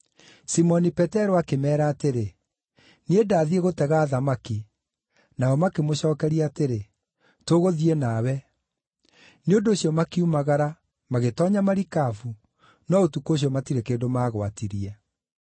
Simoni Petero akĩmeera atĩrĩ, “Niĩ ndathiĩ gũtega thamaki.” Nao makĩmũcookeria atĩrĩ, “Tũgũthiĩ nawe.” Nĩ ũndũ ũcio makiumagara, magĩtoonya marikabu, no ũtukũ ũcio matirĩ kĩndũ maagwatirie.